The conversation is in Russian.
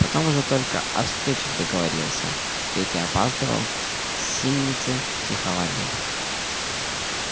потом уже только о встречах договаривался петя опаздывал синицы психовали